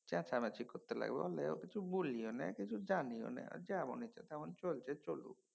চেঁচামেচি করতে লাগবে এই লিগা কিছু বলিও না কিছু জানিও নে। যেমন ইচ্ছ যেমন চলছে চলুক।